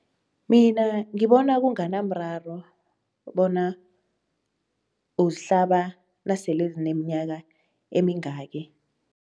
Mina ngibona kunganamraro bona uzihlaba nasele zineminyaka emingaki.